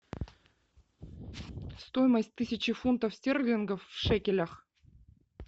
стоимость тысячи фунтов стерлингов в шекелях